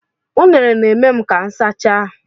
Unere na-eme ka m sachaa.